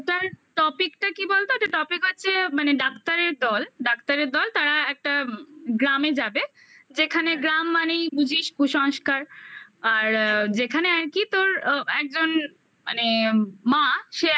ওটার topic -টা কি বলতো ওটা topic হচ্ছে মানে doctor এর দল doctor এর দল তারা একটা গ্রামে যাবে যেখানে গ্রাম মানেই বুঝিস কুসংস্কার আর যেখানে আর কি তোর ও একজন মানে মা সে